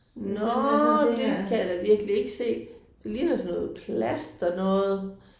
Nåh det kan jeg da virkelig ikke se. Det ligner sådan noget plasternoget